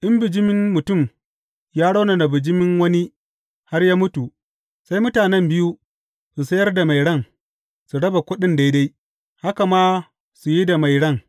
In bijimin mutum ya raunana bijimin wani, har ya mutu, sai mutanen biyu su sayar da mai ran, su raba kuɗin daidai, haka ma su yi da mai ran.